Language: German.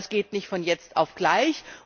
Aber das geht nicht von jetzt auf gleich.